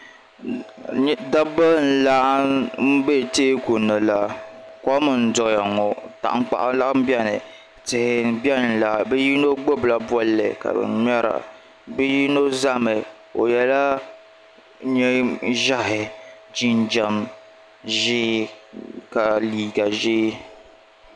Dabba n laɣim be teekuni la kom n doya ŋɔ tankpaɣu laha biɛni tihi m biɛni la yino gbibila bolli n ŋmɛra bɛ yino zami o yela niɛn'ʒehi jinjiɛm ʒee ka liiga ʒee.